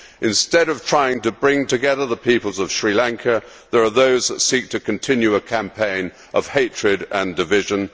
Instead of trying to bring together the peoples of Sri Lanka, there are those who seek to continue a campaign of hatred and division.